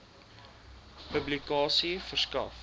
publikasie verskaf